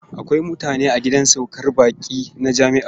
Akwai mutane a gidan saukar baƙi na jami'a.